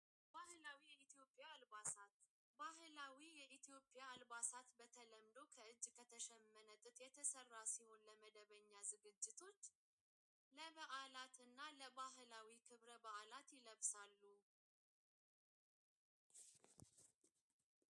ባህላዊይለፍሳሉ ኣልባሳት ባህላዊ ኢቲዎጵያ ኣልባሳት በተለምዶ ኸእጅ ኸተሸመነጥት የተሠራ ሢኹን ለመደበኛ ዝግጅቱት ለብዓላትና ለባህላዊ ኽብረ ብዓላት ይለፍሳሉ።